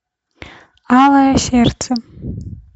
алое сердце